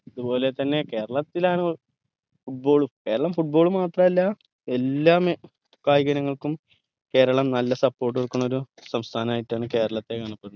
അത് പോലെ തന്നെ കേരളത്തിലാണ് football ഉം കേരളം football മാത്രല്ല എല്ലാ മേ കായികഇനങ്ങൾക്കും കേരളം നല്ല കൊടുക്കണ ഒരു സംസ്ഥാനായിട്ടാണ് കേരളത്തെ കാണപ്പെടുന്നത്